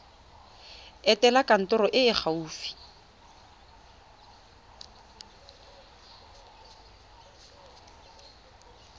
etela kantoro e e gaufi